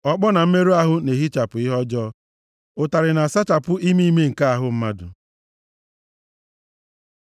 Ọkpọ na mmerụ ahụ na-ehichapụ ihe ọjọọ, ụtarị na-asachapụ ime ime nke ahụ mmadụ.